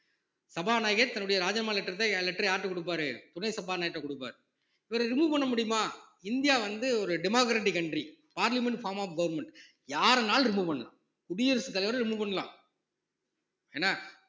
சபாநாயகர் தன்னுடைய ராஜினாமா letters அ letter அ யார்கிட்ட கொடுப்பார் துணை சபாநாயகர்கிட்ட கொடுப்பார் இவர remove பண்ண முடியுமா இந்தியா வந்து ஒரு democratic country parliament form of government யாரனாலும் remove பண்ணு குடியரசுத் தலைவரை remove பண்ணலாம் என்ன